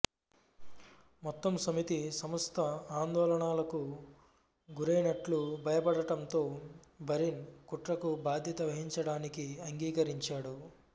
మొత్తం సమితి సంస్థ ఆందోళనలకు గురైనట్లు భయపడటంతో బరిన్ కుట్రకు బాధ్యత వహించడానికి అంగీకరించాడు